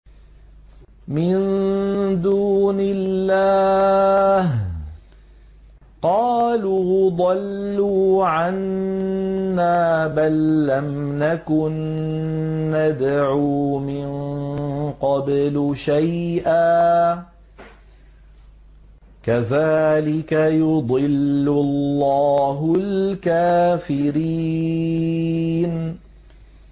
مِن دُونِ اللَّهِ ۖ قَالُوا ضَلُّوا عَنَّا بَل لَّمْ نَكُن نَّدْعُو مِن قَبْلُ شَيْئًا ۚ كَذَٰلِكَ يُضِلُّ اللَّهُ الْكَافِرِينَ